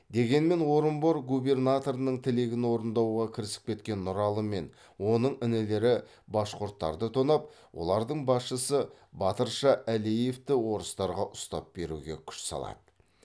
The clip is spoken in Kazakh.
дегенмен орынбор губернаторының тілегін орындауға кірісіп кеткен нұралы мен оның інілері башқұрттарды тонап олардың басшысы батырша әлеевті орыстарға ұстап беруге күш салады